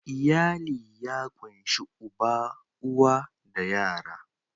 Iyali ya ƙunshi uba, uwa da yara.